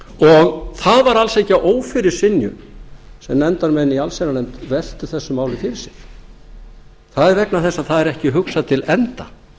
og það var alls ekki að ófyrirsynju sem nefndarmenn í allsherjarnefnd veltu þessu máli fyrir sér það var vegna þess að það var ekki hugsað til enda